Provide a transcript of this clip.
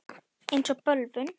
Eins og bölvun.